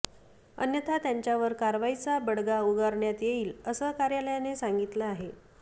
अन्यथा त्यांच्यावर कारवाईचा बडगा उगारण्यात येईल असं कार्यालयाने सांगितलं आहे